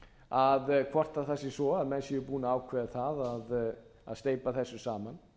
ríkisins hvort það sé svo að menn séu búnir að ákveða það að steypa þessu saman